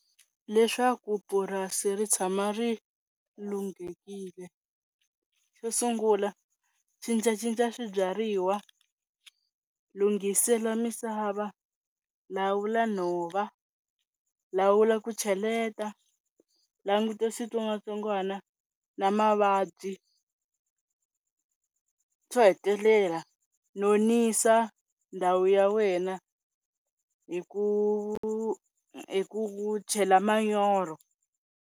Leswaku purasi ri tshama ri lunghekile xo sungula cincacinca swibyariwa, lunghisela misava, lawula nhova, lawula ku cheleta, languta switsongwatsongwana na mavabyi, xo hetelela nonisa ndhawu ya wena hi ku hi ku chela manyoro.